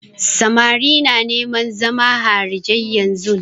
Samari na neman zama harijai yanzun.